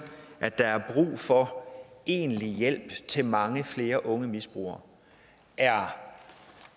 at der er brug for egentlig hjælp til mange flere unge misbrugere er